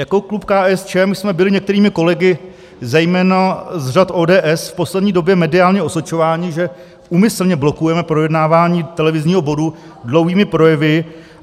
Jako klub KSČM jsme byli některými kolegy, zejména z řad ODS, v poslední době mediálně osočováni, že úmyslně blokujeme projednávání televizního bodu dlouhými projevy.